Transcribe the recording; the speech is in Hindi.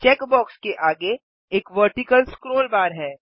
चेक बॉक्स के आगे एक वर्टिकल स्क्रोल बार है